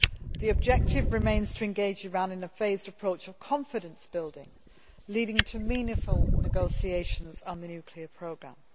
The objective remains to engage Iran in a phased approach of confidence building, leading to meaningful negotiations on the nuclear programme.